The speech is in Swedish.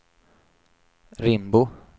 Rimbo